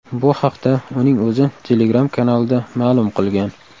Bu haqda uning o‘zi Telegram-kanalida ma’lum qilgan.